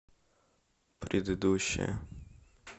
предыдущая